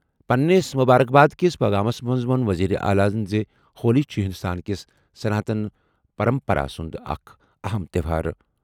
پننِس مبارک باد کِس پٲغامَس منٛز ووٚن وزیر اعلیٰ زِ ہولی چھُ ہندوستان کِس سناتن پرمپرا سُنٛد اکھ اَہَم تہوار۔